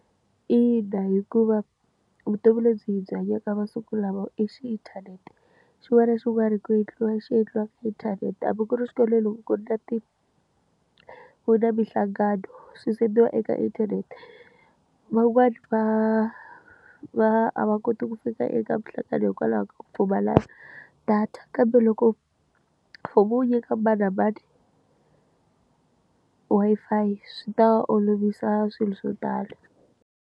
Ina hikuva vutomi lebyi byi hanyaka masiku lama inthanete. Xin'wana na xin'wana ku endliwa xi endliwa ka inthanete. Hambi ku ri xikolweni loko ku ri na ku ri na minhlangano, swi send-iwa eka inthanete. Van'wani va va a va koti ku fika eka minhlangano hikwalaho ka ku pfumala data, kambe loko mfumo wu nyika mani na mani Wi-Fi, swi ta olovisa swilo swo tala.